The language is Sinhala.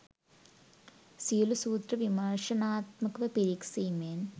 සියලු සූත්‍ර විමර්ශනාත්මකව පිරික්සීමෙන්